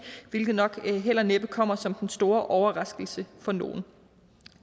hvilket nok næppe kommer som den store overraskelse for nogen